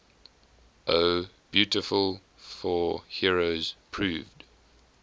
o beautiful for heroes proved